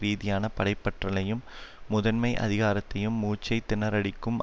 ரீதியான படைப்பற்றலையும் முதன்மை அதிகாரத்தையும் மூச்சு திணறடிக்கும்